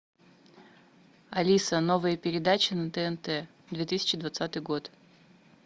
алиса новые передачи на тнт две тысячи двадцатый год